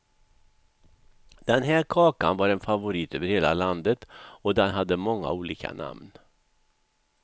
Den här kakan var en favorit över hela landet och den hade många olika namn.